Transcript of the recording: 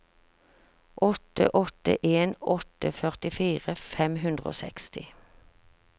åtte åtte en åtte førtifire fem hundre og seksti